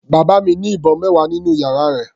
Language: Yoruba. Bàbá mi ní ìbọn mẹwa nínú yàrá rẹ̀.